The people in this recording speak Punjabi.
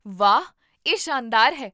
ਵਾਹ! ਇਹ ਸ਼ਾਨਦਾਰ ਹੈ